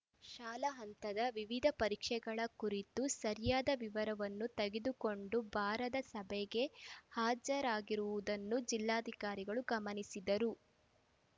ಶಾಲಾ ಹಂತದ ವಿವಿಧ ಪರೀಕ್ಷೆಗಳ ಕುರಿತ ಸರಿಯಾದ ವಿವರವನ್ನು ತೆಗೆದುಕೊಂಡು ಬಾರದೇ ಸಭೆಗೆ ಹಾಜರಾಗಿರುವುದನ್ನು ಜಿಲ್ಲಾಧಿಕಾರಿಗಳು ಗಮನಿಸಿದರು